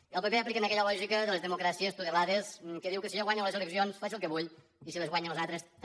i al pp apliquen aquella lògica de les democràcies tutelades que diu que si jo guanyo les eleccions faig el que vull i si les guanyen els altres també